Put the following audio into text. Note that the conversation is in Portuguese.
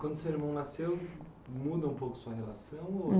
Quando o seu irmão nasceu, muda um pouco a sua relação ou?